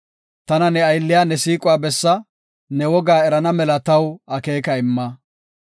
Tana ne aylliya ne siiquwa bessa; ne wogaa erana mela taw akeeka imma.